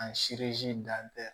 An dan tɛ